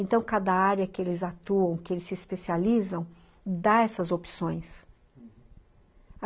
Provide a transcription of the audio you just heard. Então, cada área que eles atuam, que eles se especializam, dá essas opções.